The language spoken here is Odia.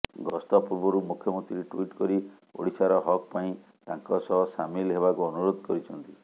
ଗସ୍ତ ପୂର୍ବରୁ ମୁଖ୍ୟମନ୍ତ୍ରୀ ଟୁଇଟ୍ କରି ଓଡ଼ିଶାର ହକ୍ ପାଇଁ ତାଙ୍କ ସହ ସାମିଲ ହେବାକୁ ଅନୁରୋଧ କରିଛନ୍ତି